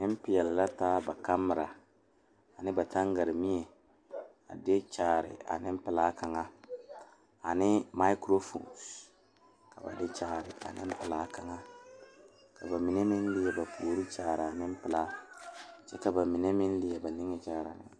Pɔgeba ane bibiiri la ka bondire a kabɔɔti poɔ ka talaare be a be poɔ kaa kodo vaare meŋ be a be kaa bie kaŋa a iri gaŋe.